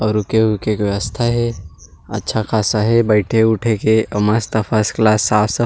अउ रुके ऊके के व्यवस्था हे अच्छा खासा हे बैठे उठे के मस्त फस क्लास साफ़ सफाई--